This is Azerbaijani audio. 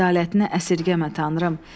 Ədalətini əsirgəmə Tanrım.